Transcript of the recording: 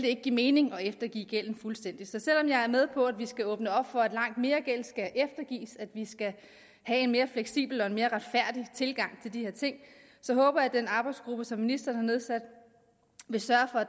ikke give mening at eftergive gælden fuldstændig så selv om jeg er med på at vi skal åbne op for at langt mere gæld skal eftergives og at vi skal have en mere fleksibel og en mere retfærdig tilgang til de her ting så håber jeg at den arbejdsgruppe som ministeren har nedsat vil sørge